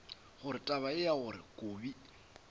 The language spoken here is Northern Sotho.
gore taba ya gore kobi